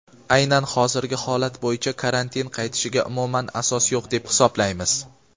Aynan hozirgi holat bo‘yicha karantin qaytishiga umuman asos yo‘q deb hisoblaymiz.